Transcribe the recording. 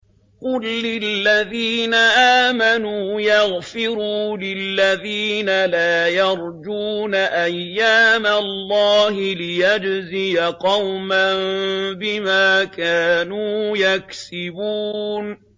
قُل لِّلَّذِينَ آمَنُوا يَغْفِرُوا لِلَّذِينَ لَا يَرْجُونَ أَيَّامَ اللَّهِ لِيَجْزِيَ قَوْمًا بِمَا كَانُوا يَكْسِبُونَ